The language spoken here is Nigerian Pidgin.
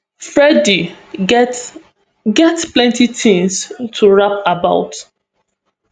freddy get get plenty tins to rap about